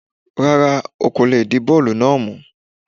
Rárá, o kò lè di bọ́ọ̀lù náà mú